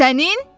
Sənin?